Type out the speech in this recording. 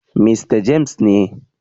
Mista James ne.